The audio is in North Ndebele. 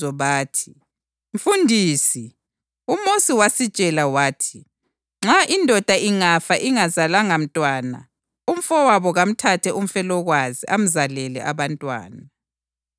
Bathi, “Mfundisi, uMosi wasitshela wathi, nxa indoda ingafa ingazalanga mntwana, umfowabo kamthathe umfelokazi amzalele abantwana.